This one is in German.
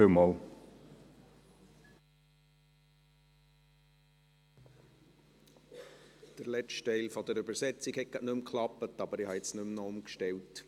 Der letzte Teil der Übersetzung hat nicht mehr funktioniert, aber ich habe nun nicht mehr umgestellt.